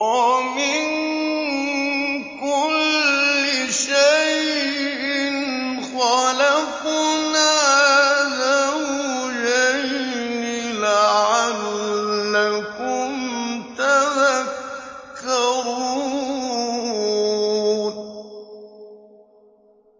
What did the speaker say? وَمِن كُلِّ شَيْءٍ خَلَقْنَا زَوْجَيْنِ لَعَلَّكُمْ تَذَكَّرُونَ